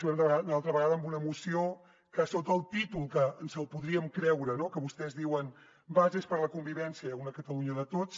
venen una altra vegada amb una moció que sota el títol que ens podríem creure no que vostès diuen bases per a la convivència en una catalunya de tots